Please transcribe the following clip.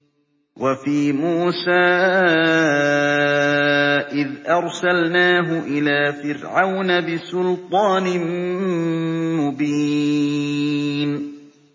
وَفِي مُوسَىٰ إِذْ أَرْسَلْنَاهُ إِلَىٰ فِرْعَوْنَ بِسُلْطَانٍ مُّبِينٍ